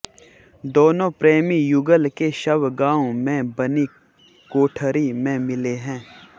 दोनों प्रेमी युगल के शव गांव में बनी कोठरी में मिले हैं